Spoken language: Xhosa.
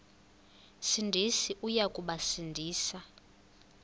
sindisi uya kubasindisa